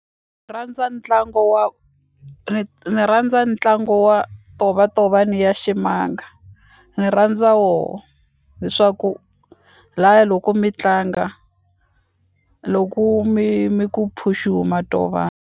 Rhandza ntlangu wa ni rhandza ntlangu wa tovatovani ya ximanga ni rhandza woho hi swa ku laya loko mi tlanga loko mi mi ku phuxu ma .